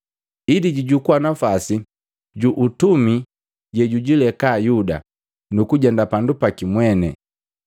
Ili jujukuwa napwasi ju utumi jejujileka Yuda nukujenda pandu jaki mweni.”